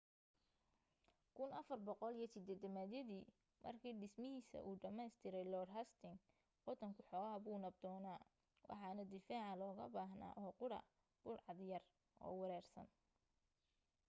1480yadii markii dhismahiisa uu dhammaystiray lord hastings waddanku xoogaa buu nabdoonaa waxana difaaca looga baahnaa oo qudha budhcad yar oo wareersan